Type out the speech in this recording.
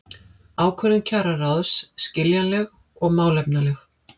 Ákvörðun kjararáðs skiljanleg og málefnaleg